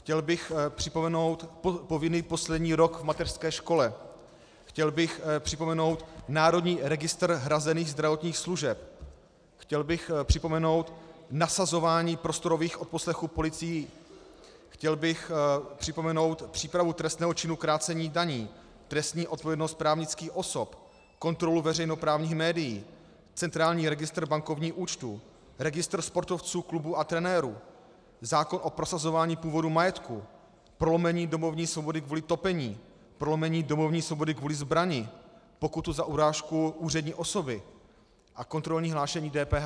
Chtěl bych připomenout povinný poslední rok v mateřské škole, chtěl bych připomenout národní registr hrazených zdravotních služeb, chtěl bych připomenout nasazování prostorových odposlechů policií, chtěl bych připomenout přípravu trestného činu krácení daní, trestní odpovědnost právnických osob, kontrolu veřejnoprávních médií, centrální registr bankovních účtů, registr sportovců, klubů a trenérů, zákon o prosazování původu majetku, prolomení domovní svobody kvůli topení, prolomení domovní svobody kvůli zbrani, pokutu za urážku úřední osoby a kontrolní hlášení DPH.